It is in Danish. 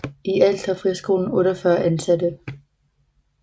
I alt har friskolen 48 ansatte